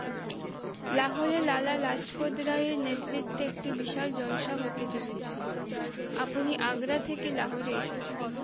লাহোরে লালা লাজপত রায়ের নেতৃত্বে একটি বিশাল জলশা হতে চলেছে আপনি আগ্রা থেকে লাহোরে এসেছেন